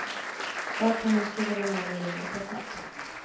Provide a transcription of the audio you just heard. Bartendern skruvade ned volymen ett par snäpp.